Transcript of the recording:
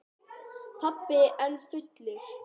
Pabbi enn fullur.